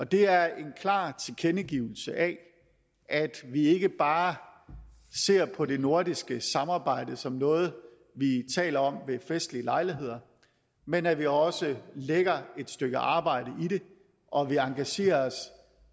det er en klar tilkendegivelse af at vi ikke bare ser på det nordiske samarbejde som noget vi taler om ved festlige lejligheder men at vi også lægger et stykke arbejde i det og at vi engagerer os